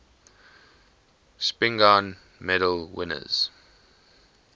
spingarn medal winners